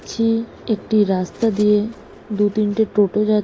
ছি একটি রাস্তা দিয়ে দু তিনটে টোটো যাচ্ছ --